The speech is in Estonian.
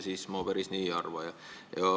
Mina päris nii ei arva.